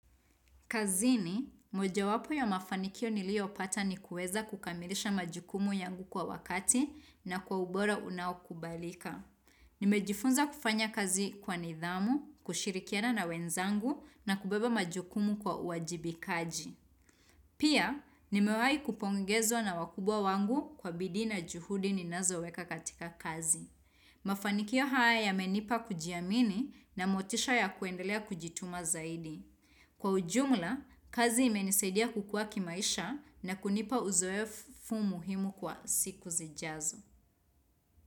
Kazini, moja wapo ya mafanikio niliopata ni kuweza kukamilisha majukumu yangu kwa wakati na kwa ubora unaokubalika. Nimejifunza kufanya kazi kwa nidhamu, kushirikiana na wenzangu na kubeba majukumu kwa uajibikaji. Pia, nimewahi kupongezwa na wakubwa wangu kwa bidii na juhudi ninazoweka katika kazi. Mafanikio haya yamenipa kujiamini na motisha ya kuendelea kujituma zaidi. Kwa ujumla, kazi imenisaidia kukua kimaisha na kunipa uzoefu muhimu kwa siku zijazo.